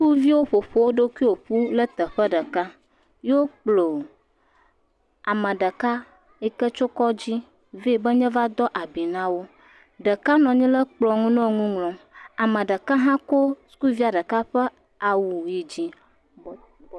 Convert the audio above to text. Sukuviwo ƒo woɖokuiwo ƒu ɖe teƒe ɖeka eye wo kplɔ ame ɖeka yike tso kɔdzi vae be neva do abui nawo ɖeka nɔ anyi ɖe kplɔnu nɔ nuŋlɔ ame ɖeka ha kɔ sukuvia ɖeka ƒe awu yidzi